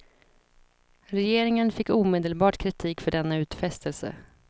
Regeringen fick omedelbart kritik för denna utfästelse.